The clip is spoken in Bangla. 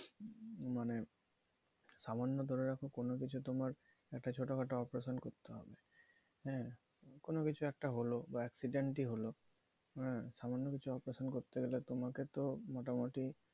মানে সামান্য ধরে রাখো কোনো কিছু তোমার ছোটখাটো একটা অপারেশন করতে হবে হ্যাঁ কোন কিছু একটা হল বা accident ই হল সামান্য কিছু operation করতে গেলে তো তোমাকে তো মোটামুটি